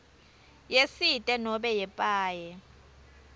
yesite nobe yepaye